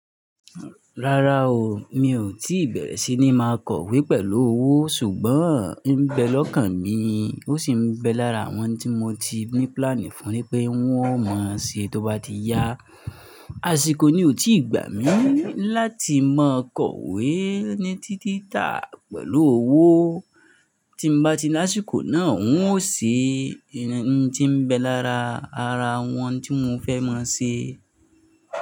Rárá o, mi ò tí bẹ̀rẹ̀ sí ní máa kọ̀wé pẹ̀lú owó ṣùgbọ́n ń bẹ lọ́kàn mi, ó sì ń bẹ lára àwọn tí mo ti ní plan fún pé wọn ó mọ́ ṣe tó bá ti yá. Àsìkò ni ò tí gbà mí láti mọ kọ̀wé ní títítà pẹ̀lú owó. Tí mo bá ti lọ́ àsìkò náà, n ó ṣe ẹni tí ń bẹ lára ara àwọn tí mo fẹ́ mọ̀ ṣe.